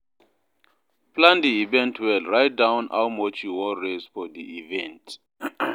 Plan di event well write down how much you won raise for di event